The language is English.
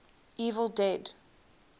evil dead